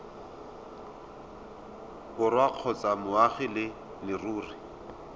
borwa kgotsa moagi wa leruri